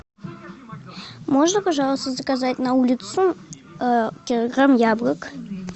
можно пожалуйста заказать на улицу килограмм яблок